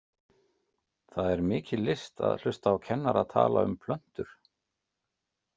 Það er mikil list að hlusta á kennara tala um plöntur.